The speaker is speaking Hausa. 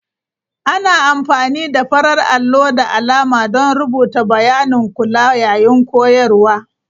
Ana amfani da farar allo da alama don rubuta bayanin kula yayin koyarwa.